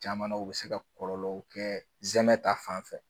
Caman na u bɛ se ka kɔlɔlɔw kɛ zɛmɛ ta fanfɛ